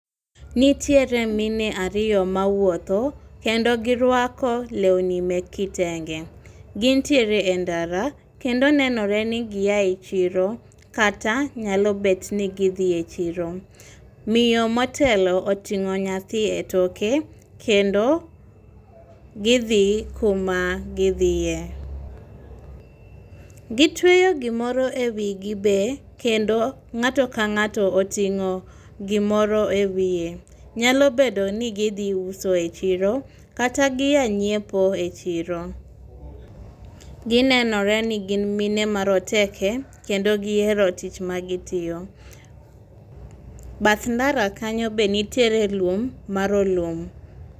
Nitiere mine ariyo mawuotho, kendo girwako lewni mek kitenge. Gintiere e ndara kendo nenore ni giyae, chiro kata nyalo bet ni gidhi e chiro. Miyo motelo oting'o nyathi e toke kendo gidhi kuma gidhiye. Gitweyo gimoro e wigi be, kendo ng'ato ka ng'ato oting'o gimoro e wiye. Nyalo bedo ni gidhi uso e chiro, kata giya nyiepo e chiro. Ginenore ni gin mine ma roteke kendo gihero tich ma gitiyo. Bath ndara kanyo be nitiere lum, marolum.